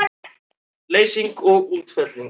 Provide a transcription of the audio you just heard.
Leysing og útfelling